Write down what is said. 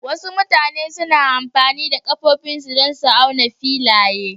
Wasu mutane suna amfani da ƙafafunsu don auna filaye.